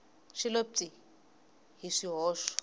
xi lo pyi hi swihoxo